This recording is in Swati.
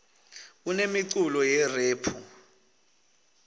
kunemiculo yerephu